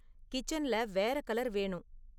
கிச்சன்ல வேற கலர் வேணும்